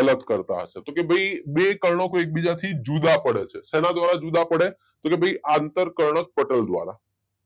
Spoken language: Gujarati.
અલગ કરતા હશે કે ભાઈ બે કર્ણકો એક બીજાથી જુદા પડે છે શેના દ્વારા જુદા પડે? કે ભાઈ આંતરકર્ણકપટલ દ્વારા